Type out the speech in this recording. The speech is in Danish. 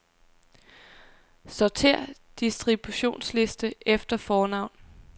Sortér distributionsliste efter fornavn.